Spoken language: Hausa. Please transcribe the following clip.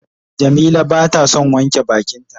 Jamila bata son wanke bakin ta.